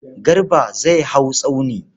Garba zai hau tsauni.